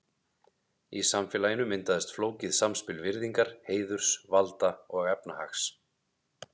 Í samfélaginu myndaðist flókið samspil virðingar, heiðurs, valda og efnahags.